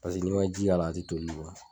n'i ma ji k'a la a tɛ toli